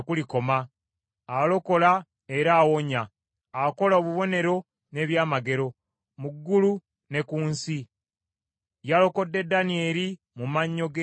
Alokola era awonya: akola obubonero n’ebyamagero mu ggulu ne ku nsi. Yalokodde Danyeri mu mannyo g’empologoma.”